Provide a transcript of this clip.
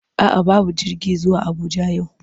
A'a babu jirgi zuwa Abuja yau,